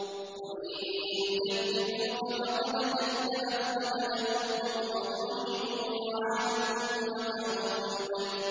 وَإِن يُكَذِّبُوكَ فَقَدْ كَذَّبَتْ قَبْلَهُمْ قَوْمُ نُوحٍ وَعَادٌ وَثَمُودُ